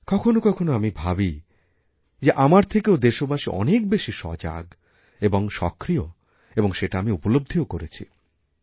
কখনও কখনও আমি ভাবি যে আমার থেকেওদেশবাসী অনেক বেশি সজাগ এবং সক্রিয় এবং সেটা আমি উপলব্ধিও করেছি